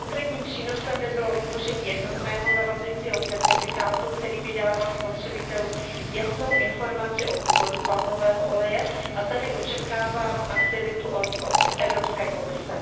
Konkrétním přínosem by bylo vytvoření jednotného zavazujícího certifikátu, který by dával spotřebitelům jasnou informaci o původu palmového oleje a tady očekávám aktivitu od Evropské komise.